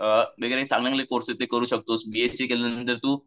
अ चांगले चांगले कोर्स आहेत ते करू शकतोस. बी एस सी केल्यानंतर तू